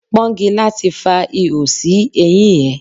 Pọ́ngilá ti fa ihò sí eyín ẹ.